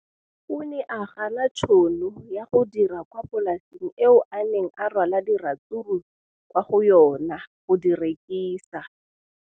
O ne a gana tšhono ya go dira kwa polaseng eo a neng rwala diratsuru kwa go yona go di rekisa.